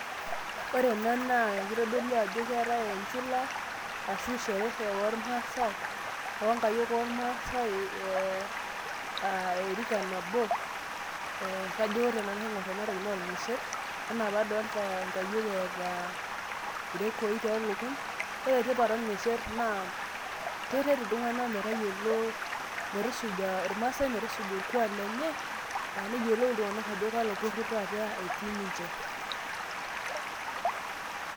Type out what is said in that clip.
ore ena naa kitodolu ajoo keetae enchula ashu sherehe oolmaasai oo nkayiok oormaasae aa erika nabo ee kajo ore tenaingor ena toki naa orng'esher. enaa pee adoolta inkayiok eeta irekoi toolukuny. ore tipat orng'esher naa keret iltunganak metayiolo, metusuja irmaasae metusuja orkuaak lenye. neyiolou iltung'anak ajo kalo poror taate eetii ninche.